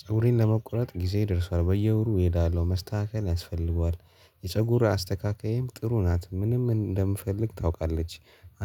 ፀጉሬን ለመቁረጥ ጊዜየ ደርሷል በየወሩ እሄዳለው መስተካከል ያስፈልገዋል የፀጉር አስተካካይም ጥሩ ናት ምንም እንደምፈልግ ታውቃለች